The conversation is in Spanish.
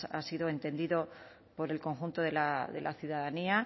ha sido entendido por el conjunto de la ciudadanía